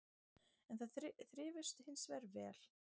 En þær þrifust hins vegar vel